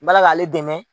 Bala k'ale dɛmɛ